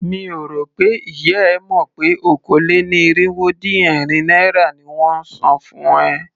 Mi ò rò pé ìyá e mọ̀ pé okòó-lé-ní-irínwó-dín-ẹ̀rin naira ni wón ń san fún ẹ.